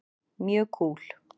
Mjög kúl.